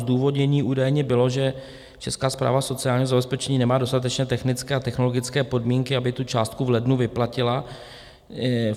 Zdůvodnění údajně bylo, že Česká správa sociálního zabezpečení nemá dostatečné technické a technologické podmínky, aby tu částku v lednu vyplatila.